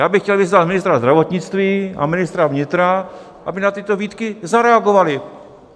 Já bych chtěl vyzvat ministra zdravotnictví a ministra vnitra, aby na tyto výtky zareagovali.